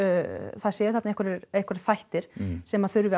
það séu þarna einhverjir einhverjir þættir sem að þurfi að